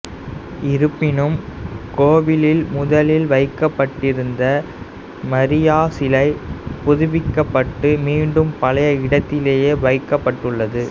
இருப்பினும் கோவிலில் முதலில் வைக்கப்பட்டிருந்த மரியா சிலை புதுப்பிக்கப்பட்டு மீண்டும் பழைய இடத்திலேயே வைக்கப்பட்டுள்ளது